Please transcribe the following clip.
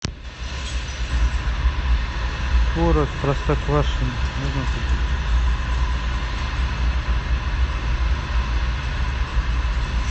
творог простоквашино